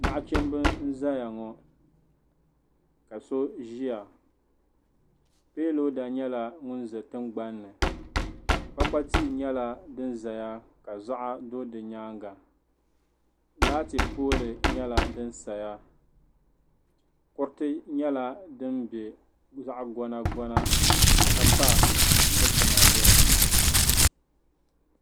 Nachimba n zaya ŋɔ ka so ziya piiloda yɛla ŋun za tiŋgbanni kpakpa tia yɛla din zaya ka zuɣa do di yɛanga laati pooli yɛla dini saya kuriti yɛla dini yɛ zaɣi gonagona ka pa dukpuna zuɣu.